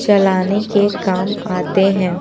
चलाने के काम आते हैं।